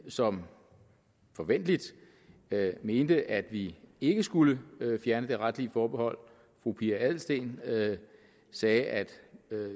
som forventeligt mente at vi ikke skulle fjerne det retlige forbehold fru pia adelsteen sagde at